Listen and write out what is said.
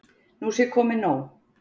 Nú sé komið nóg.